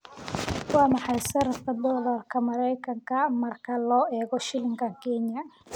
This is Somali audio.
Waa maxay sarifka doolarka Maraykanka marka loo eego shilinka Kenya?